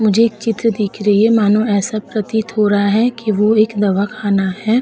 मुझे एक चित्र दिख रही है मानो ऐसा प्रतीत हो रहा कि वो एक दवाखाना है।